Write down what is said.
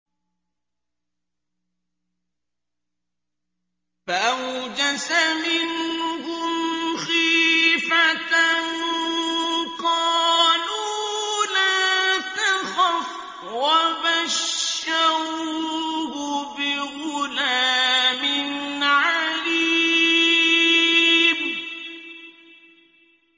فَأَوْجَسَ مِنْهُمْ خِيفَةً ۖ قَالُوا لَا تَخَفْ ۖ وَبَشَّرُوهُ بِغُلَامٍ عَلِيمٍ